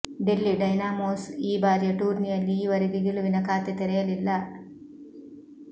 Delhi Dynamos ಈ ಬಾರಿಯ ಟೂರ್ನಿಯಲ್ಲಿ ಈ ವರೆಗೆ ಗೆಲುವಿನ ಖಾತೆ ತೆರೆಯಲಿಲ್ಲ